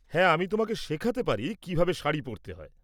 হ্যাঁ, আমি তোমাকে শেখাতে পারি কিভাবে শাড়ি পরতে হয়।